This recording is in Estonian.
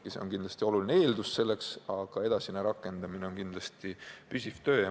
See on kindlasti oluline eeldus, aga edasine rakendamine on püsiv töö.